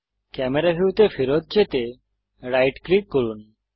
camera ভিউতে ফেরত যেতে রাইট ক্লিক করুন